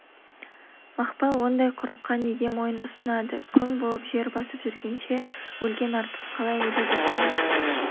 мақпал ондай құрыққа неге мойын ұсынады күң болып жер басып жүргенше өлген артық қалай өледі сонда